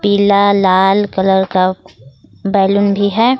पीला लाल कलर का बैलून भी है।